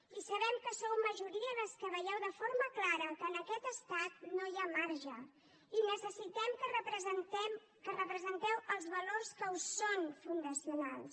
i sabem que sou majoria les que veieu de forma clara que en aquest estat no hi ha marge i necessitem que representeu els valors que us són fundacionals